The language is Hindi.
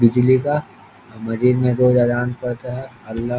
बिजली का मजीद में रोज अज़ान पढ़ता है अल्लाह --